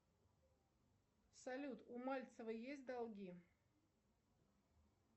салют у мальцева есть долги